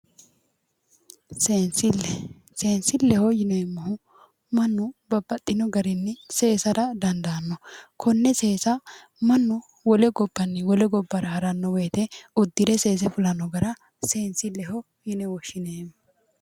Seensille, seensilleho yineemmohu mannu babbaxino garinni seesara dandaanno konne seesa mannu wole gobbanni wole gobbara haranno woyiite uddire seese fulanno gara seensilleho yine woshshineemmo.